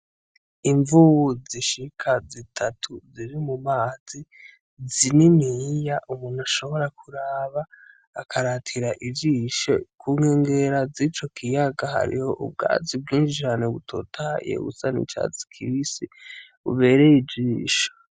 Imvubu zishika zitatu ziri mumazi zininiya umuntu ashobora kuraba akaratira ijisho kunkengera zico kiyaga hariho ubwatsi bw'injana butotahaye busa n' icatsi kibisi bubereye ijisho.